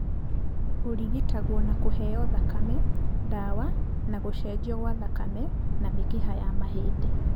Ũrigitagwo na kũheo thakame, ndawa na gũcenjio kwa thakame na mĩkiha ya mahĩndĩ.